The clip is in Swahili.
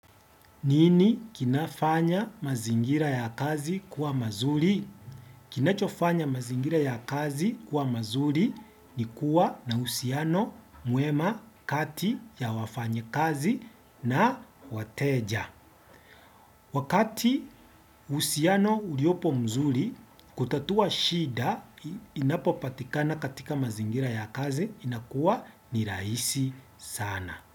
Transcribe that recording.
Nini kinafanya mazingira ya kazi kuwa mazuri? Kinachofanya mazingira ya kazi kuwa mazuri ni kuwa na uhusiano mwema kati ya wafanyikazi na wateja. Wakati uhusiano uliopo mzuri, kutatua shida inapopatikana katika mazingira ya kazi inakuwa ni rahisi sana.